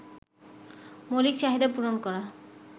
মৌলিক চাহিদা পূরণ করা